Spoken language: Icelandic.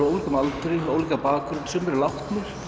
ólíkum aldri ólíkan bakgrunn sumir eru látnir